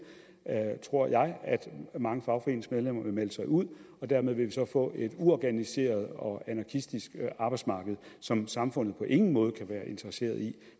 tror jeg at mange fagforeningsmedlemmer vil melde sig ud og dermed vil vi så få et uorganiseret og anarkistisk arbejdsmarked som samfundet på ingen måde kan være interesseret i